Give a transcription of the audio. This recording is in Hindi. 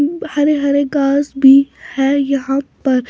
हरे हरे गाज भी है यहाँ पर।